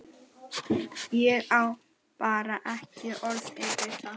Ég á bara ekki orð yfir það.